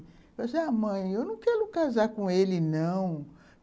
Eu disse ah mãe... eu não quero casar com ele, não.